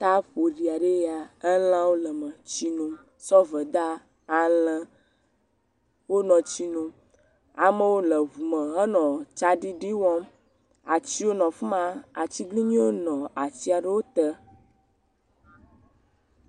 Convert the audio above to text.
Tsia ƒoɖi aɖe ye ya, alãwo le eme, sɔveda, alẽ wonɔ tsi nom, amewo nɔ ŋume henɔ tsa ɖiɖi wɔm, atiwo nɔ afima, atiglinyiwo nɔ atia ɖe wote.